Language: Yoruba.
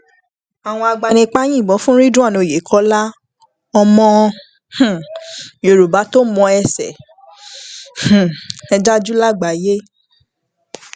àwọn agbanipa yìnbọn fún ridwan oyekola ọmọ um yorùbá tó mọ ẹsẹ um ẹ jà jù lágbàáyé